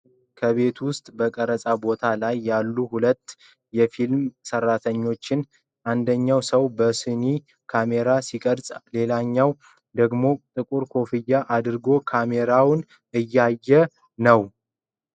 ከቤት ውጭ በቀረጻ ቦታ ላይ ያሉ ሁለት የፊልም ሰራተኞችን ። አንደኛው ሰው በሶኒ ካሜራ ሲቀርጽ፣ ሌላኛው ደግሞ ጥቁር ኮፍያ አድርጎ ካሜራውን እያየ ነው።